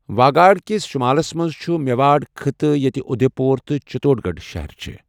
واگاڈ كِس شٗمالس منز چھٖٗ میواڈ خطہ، یتِہِ اٗدھیہ پور تہٕ چِتوڈ گڈھ شہرچھِ ۔